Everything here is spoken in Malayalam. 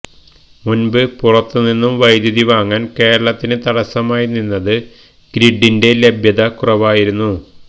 മുന്പ് പുറത്ത് നിന്ന് വൈദ്യുതി വാങ്ങാന് കേരളത്തിന് തടസ്സമായി നിന്നത് ഗ്രിഡിന്റെ ലഭ്യത കുറവായിരുന്നു